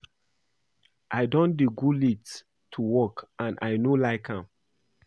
I don dey go late to work and I no like am